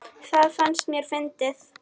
Það fannst mér fyndið.